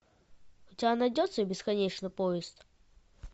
у тебя найдется бесконечный поезд